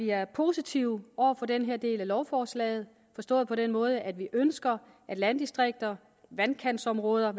er positive over for den her del af lovforslaget forstået på den måde at vi ønsker at landdistrikter vandkantsområder